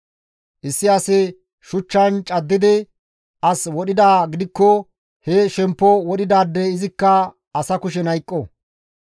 Issi asi shuchchan caddidi as wodhidaa gidikko he shemppo wodhidaadey izikka asa kushen hayqqo.